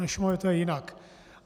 Na Šumavě to je jinak.